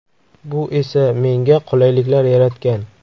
Bu esa menga qulayliklar yaratgan.